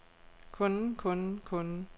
kunden kunden kunden